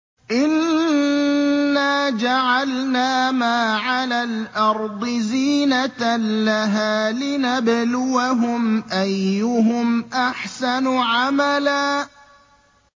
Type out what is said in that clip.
إِنَّا جَعَلْنَا مَا عَلَى الْأَرْضِ زِينَةً لَّهَا لِنَبْلُوَهُمْ أَيُّهُمْ أَحْسَنُ عَمَلًا